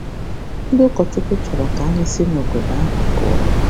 Ndị ụkọchukwu chọrọ ka anyị si n'obodo ahụ pụọ.